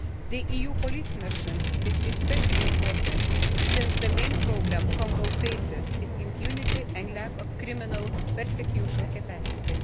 The EU police mission is especially important, since the main problem Congo faces is impunity and lack of criminal prosecution capacity.